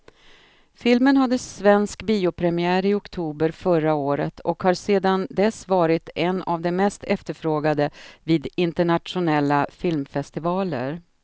Filmen hade svensk biopremiär i oktober förra året och har sedan dess varit en av de mest efterfrågade vid internationella filmfestivaler.